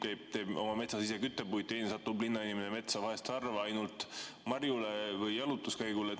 Mõni teeb oma metsas küttepuid, teine, linnainimene satub metsa vahel harva ainult marjule või jalutuskäigule.